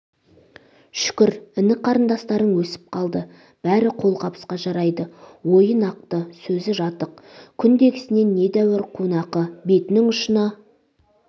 шүкір іні-қарындастарың өсіп қалды бәрі қолқабысқа жарайды ойы нақты сөз жатық күндегісінен недәуір қунақы бетінің ұшына